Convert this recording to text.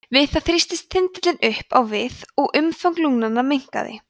við þetta þrýstist þindin upp á við og umfang lungans minnkaði